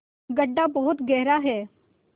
गढ्ढा बहुत गहरा है